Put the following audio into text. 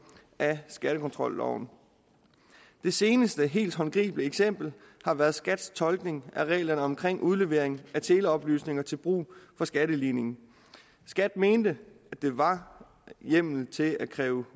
af skattekontrolloven det seneste helt håndgribelige eksempel har været skats tolkning af reglerne omkring udlevering af teleoplysninger til brug for skatteligningen skat mente at der var hjemmel til at kræve